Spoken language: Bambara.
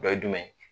Dɔ ye jumɛn ye